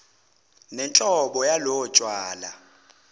nenhlobo yalobo tshwala